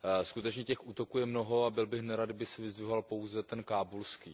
Skutečně těch útoků je mnoho a byl bych nerad, kdyby se vyzdvihoval pouze ten kábulský.